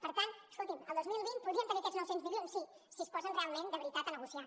per tant escoltin el dos mil vint podríem tenir aquests nou cents milions sí si es posen realment de veritat a negociar